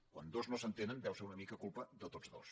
quan dos no s’entenen deu ser una mica culpa de tots dos